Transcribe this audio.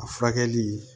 A furakɛli